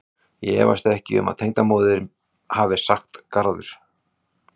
Ég efast ekki um að tengdamóðirin hafi sagt garður.